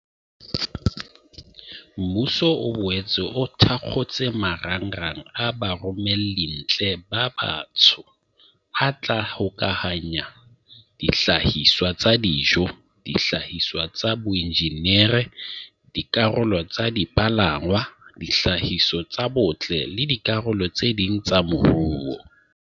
Mmuso o boetse o thakgotse marangrang a baromellintle ba batsho a tla hokahanya dihlahiswa tsa dijo, dihlahiswa tsa boinjinere, dikarolo tsa dipalangwang, dihlahiswa tsa botle le dikarolo tse ding tsa moruo.